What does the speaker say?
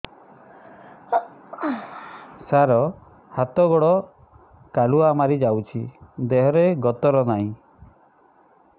ସାର ହାତ ଗୋଡ଼ କାଲୁଆ ମାରି ଯାଉଛି ଦେହର ଗତର ନାହିଁ